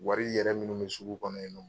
Wari yɛrɛ minnu bɛ sugu kɔnɔ yen nɔ